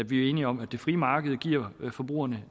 vi er enige om at det frie marked giver forbrugerne